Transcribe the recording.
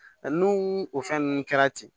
N'u o fɛn ninnu kɛra ten